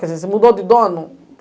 Quer dizer, você mudou de dono?